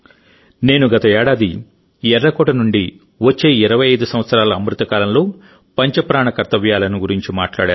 నేను గత ఏడాది ఎర్రకోట నుండి వచ్చే 25 సంవత్సరాల అమృతకాలంలో పంచ ప్రాణ గురించి మాట్లాడాను